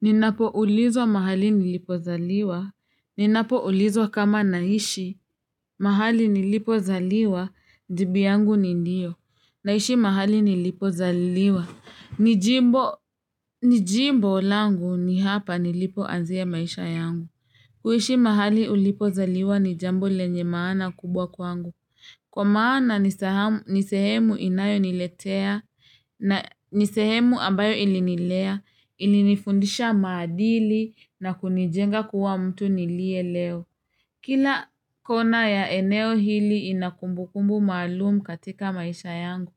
Ninapo ulizo mahali nilipo zaliwa. Ninapo ulizo kama naishi. Mahali nilipo zaliwa, jibu yangu ni ndio. Naishi mahali nilipo zaliwa. Nijimbo langu ni hapa nilipo azia maisha yangu. Kuhishi mahali ulipo zaliwa ni jambo lenye maana kubwa kwangu. Kwa maana nisehemu inayo niletea na nisehemu ambayo ilinilea, ilinifundisha madili na kunijenga kuwa mtu nilie leo. Kila kona ya eneo hili inakumbukumbu malumu katika maisha yangu.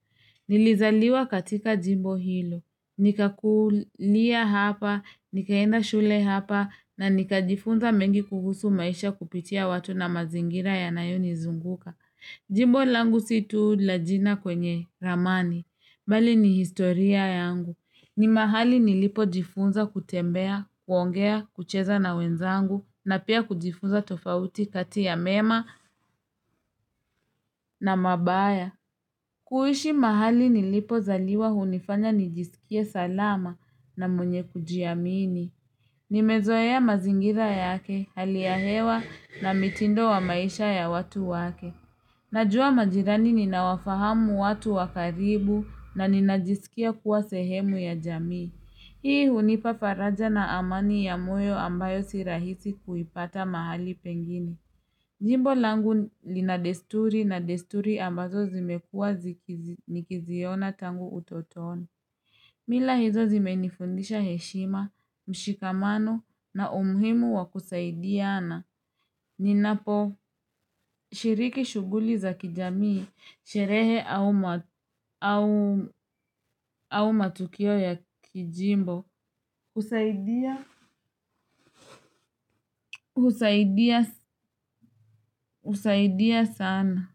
Nilizaliwa katika jimbo hilo. Nikakulia hapa, nikaenda shule hapa, na nika jifunza mengi kugusu maisha kupitia watu na mazingira ya nayoni zunguka. Jimbo langu situ la jina kwenye ramani, mali ni historia yangu. Ni mahali nilipo jifunza kutembea, kuongea, kucheza na wenzangu, na pia kujifunza tofauti kati ya mema na mabaya. Kuishi mahali nilipo zaliwa hunifanya nijisikie salama na mwenye kujiamini. Nimezoea mazingira yake, hali ya hewa na mitindo wa maisha ya watu wake. Najua majirani ninawafahamu watu wakaribu na ninajisikia kuwa sehemu ya jamii. Hii hunifa faraja na amani ya moyo ambayo sirahisi kuipata mahali pengini. Njimbo langu linadesturi na desturi ambazo zimekuwa zikiziona tangu utotoni. Mila hizo zimenifundisha heshima, mshikamano na umhimu wa kusaidia ana. Ninapo shiriki shughuli za kijamii, sherehe au matukio ya kijimbo usaidia sana.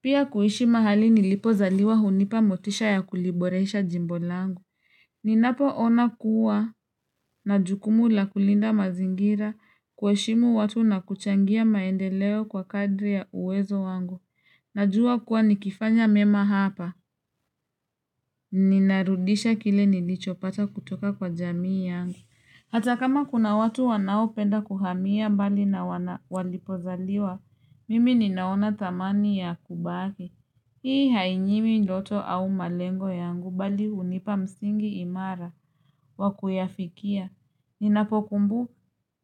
Pia kuhishi mahali nilipo zaliwa hunipa motisha ya kuliboresha jimbo langu. Ninapo ona kuwa na jukumu la kulinda mazingira kuheshimu watu na kuchangia maendeleo kwa kadri ya uwezo wangu. Najua kuwa nikifanya mema hapa. Ninarudisha kile nilicho pata kutoka kwa jamii yangu. Hata kama kuna watu wanao penda kuhamia mbali na walipo zaliwa, mimi ninaona tamani ya kubaki. Hii hainyimi ndoto au malengo yangu bali unipa msingi imara wa kuyafikia. Ninapokumbu,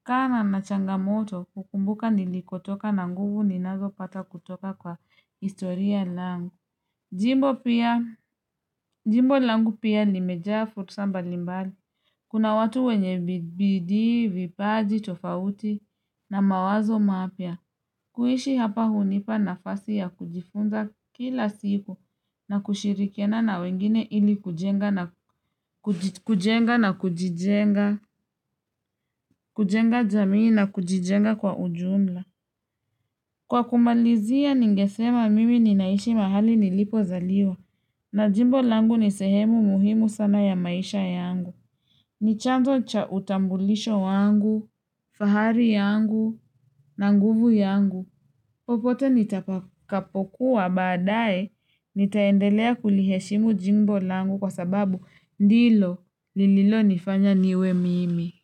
kana na changamoto, ukumbuka nilikotoka na nguvu ninazopata kutoka kwa istoria langu. Jimbo pia, jimbo langu pia limejaa fursa mbalimbali. Kuna watu wenye bididi, vipaji, tofauti na mawazo mapya. Kuishi hapa hunipa na fasi ya kujifunza kila siku na kushirikena na wengine ili kujenga na kujijenga, kujenga jamii na kujijenga kwa ujumla. Kwa kumalizia ningesema mimi ninaishi mahali nilipo zaliwa na jimbo langu nisehemu muhimu sana ya maisha yangu. Ni chanzo cha utambulisho wangu, fahari yangu na nguvu yangu. Popote nitapakapokuwa baadae, nitaendelea kuliheshimu jimbo langu kwa sababu ndilo lililo nifanya niwe mimi.